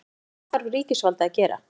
En hvað þarf ríkisvaldið að gera?